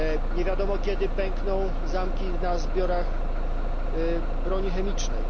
Nie wiadomo, kiedy pękną zamki na zbiorach broni chemicznej.